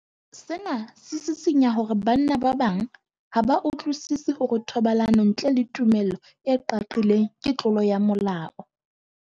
Sena se sisinya hore banna ba bang ha ba utlwisisi hore thobalano ntle le tumello e qaqileng ke tlolo ya molao.